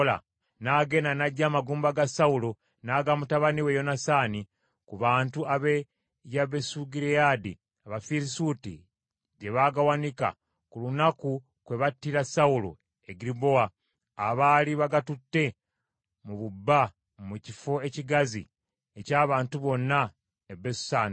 n’agenda, n’aggya amagumba ga Sawulo n’aga mutabani we Yonasaani ku bantu ab’e Yabesugireyaadi, Abafirisuuti gye baagawanika, ku lunaku kwe battira Sawulo e Girubowa, abaali bagatutte mu bubba mu kifo ekigazi eky’abantu bonna e Besusani.